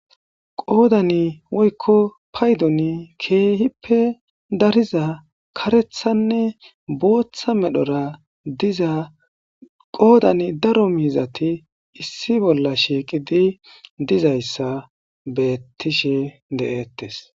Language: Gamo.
qoodani woykko paydoni keehippe dariza karethanne booththa medhora diza qoodan daro miizati issi bolla shiiqidi dizayssa beettishe de7eettes